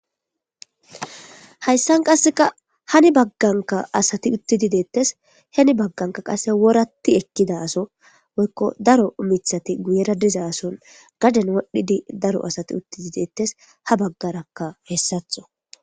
hayssan qasseka hani bagganka asati uttidi deettes heni bagganka qase woratti ekkida aso woykko daro mithati guyera diza son gaden wodhidi daro asati utti di deettes ha baggarakka hessatho